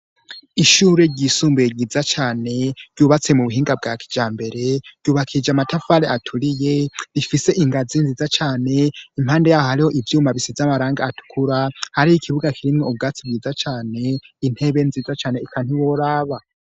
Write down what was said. Ishure ryisumbuye ryiza cane ryubatse mu buhinga bwa kijambere ryubakishije amatafari aturiye rifise ingazi nziza cane impande yaho hariho ivyuma bise amarangi atukura hariho ikibuga kirimwo ubwatsi bwiza cane intebe nziza cane ikantiworaba.